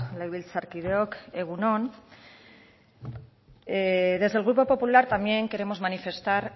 legebiltzarkideok egun on desde el grupo popular también queremos manifestar